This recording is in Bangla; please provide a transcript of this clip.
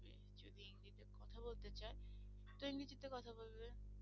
যদি ইংরেজিতে কথা বলতে চাই তুমি ইংরেজিতে কথা বলবে।